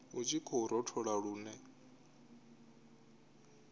hu tshi khou rothola lune